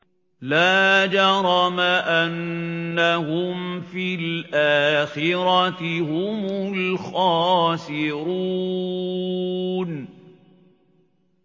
لَا جَرَمَ أَنَّهُمْ فِي الْآخِرَةِ هُمُ الْخَاسِرُونَ